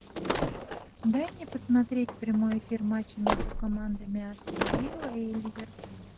дай мне посмотреть прямой эфир матча между командами астон вилла и ливерпуль